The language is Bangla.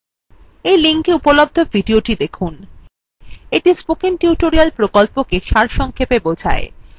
এই linkএ উপলব্ধ videothe দেখুন এটি spoken tutorial প্রকল্পটি সারসংক্ষেপে বোঝায়